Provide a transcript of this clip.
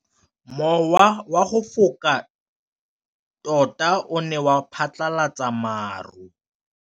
Mowa o wa go foka tota o ne wa phatlalatsa maru.